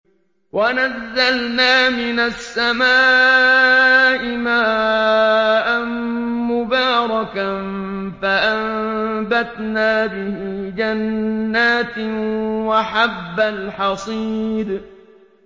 وَنَزَّلْنَا مِنَ السَّمَاءِ مَاءً مُّبَارَكًا فَأَنبَتْنَا بِهِ جَنَّاتٍ وَحَبَّ الْحَصِيدِ